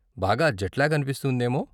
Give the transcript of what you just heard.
బాగా జెట్లాగ్ అనిపిస్తుందేమో.